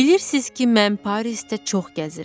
Bilirsiniz ki, mən Parisdə çox gəzirəm.